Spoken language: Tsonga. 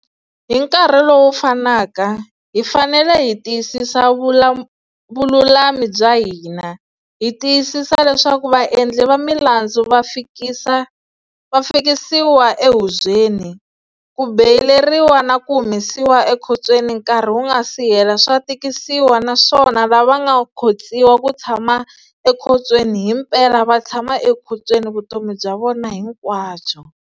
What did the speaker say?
Hi nkarhi lowu fanaka, hi fanele hi tiyisisa vululami bya hina, hi tiyisisa leswaku vaendli va milandzu va fikisa va fikisiwa ehubyeni, ku beyileriwa na ku humesiwa ekhotsweni nkarhi wu nga si hela swa tikisiwa naswona lava nga khotsiwa ku tshama ekhontsweni himpela vatshama ekhontsweni vutomi bya vona hinkwabyo.